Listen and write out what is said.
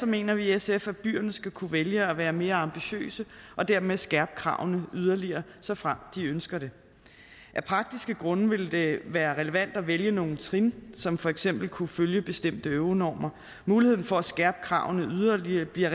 mener vi i sf at byerne skal kunne vælge at være mere ambitiøse og dermed skærpe kravene yderligere såfremt de ønsker det af praktiske grunde ville det være relevant at vælge nogle trin som for eksempel kunne følge bestemte euronormer muligheden for at skærpe kravene yderligere bliver